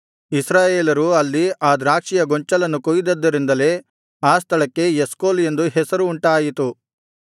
ಇಸ್ರಾಯೇಲರು ಅಲ್ಲಿ ಆ ದ್ರಾಕ್ಷಿಯ ಗೊಂಚಲನ್ನು ಕೊಯ್ದದ್ದರಿಂದಲೇ ಆ ಸ್ಥಳಕ್ಕೆ ಎಷ್ಕೋಲ್ ಎಂದು ಹೆಸರು ಉಂಟಾಯಿತು